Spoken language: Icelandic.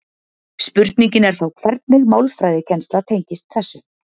Spurningin er þá hvernig málfræðikennsla tengist þessu.